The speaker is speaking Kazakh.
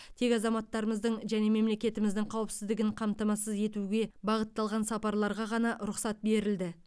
тек азаматтарымыздың және мемлекетіміздің қауіпсіздігін қамтамасыз етуге бағытталған сапарларға ғана рұқсат берілді